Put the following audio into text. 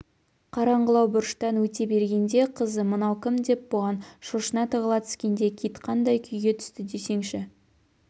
қараңғылау бұрыштан өте бергенде қызы мынау кім деп бұған шошына тығыла түскенде кит қандай күйге түсті десеңші